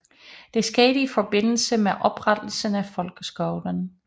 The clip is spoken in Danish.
Det skete i forbindelse med oprettelsen af folkeskolen